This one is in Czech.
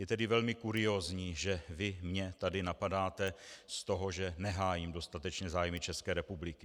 Je tedy velmi kuriózní, že vy mě tady napadáte z toho, že nehájím dostatečně zájmy České republiky.